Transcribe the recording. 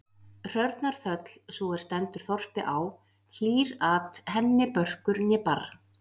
Hrörnar þöll, sú er stendur þorpi á, hlýr-at henni börkur né barr.